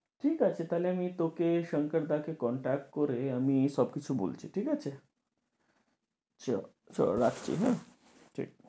ঠিক আছে তাহলে তোকে শঙ্কর দা কে contact করে আমি সবকিছু বলছি, ঠিক আছে? sure, so রাখছি হ্যাঁ? ঠিক